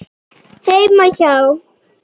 Heima hjá